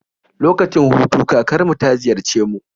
Lokacin hutu kakar mu ta ziyarce mu